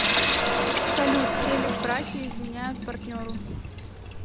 салют все ли в браке изменяют партнеру